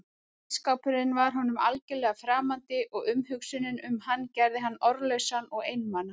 Ísskápurinn var honum algjörlega framandi og umhugsunin um hann gerði hann orðlausan og einmana.